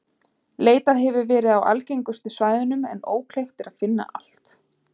leitað hefur verið á aðgengilegustu svæðunum en ókleift er að finna allt